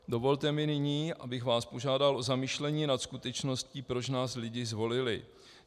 Dovolte mi nyní, abych vás požádal o zamyšlení nad skutečností, proč nás lidi zvolili.